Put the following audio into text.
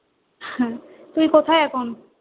তুই কোথায় এখন?